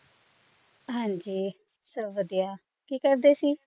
ਹਾਂ ਜੀ ਸਭ ਵਧੀਆ ਕੀ ਕਰਦੇ ਸੀ?